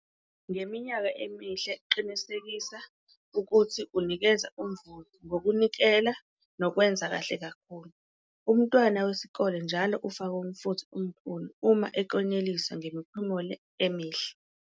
Ngeminyaka emihle qinisekisa ukuthi unikeza umvuzo ngokunikela nokwenza kahle kakhulu. Umntwana wesikolwa njalo ufaka umfutho omkhulu uma eklonyeliswa ngemiphumela emihle.